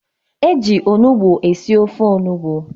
Eji onugbu e si ofe onugbu